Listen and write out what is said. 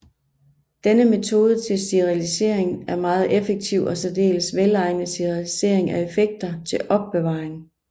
Denne metode til sterilisering er meget effektiv og særdeles velegnet til sterilisering af effekter til opbevaring